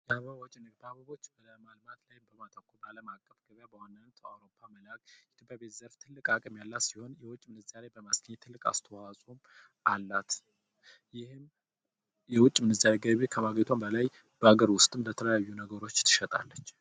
አበቦቺን በማልማት ላይ በማቶከር ዓለም አቀፍ ገበያ በዋናነት ወደ አዉሮፓ መላክ ኢትዮጵያ በዚ ዘርፍ ትልቅ ሃቅም ያላት የዉጭ ምንዛሬ በማስገኘት ትልቅ አስተዋትጽኦ አላት ።ይህም የዉጭ ምንዛሬ ከማግኘቷ በላይ በሀገር ዉስጥም በተለያዩ ነገርች ትሸጣለች ።